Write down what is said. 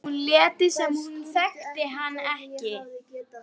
Hvað ef hún léti sem hún þekkti hann ekki?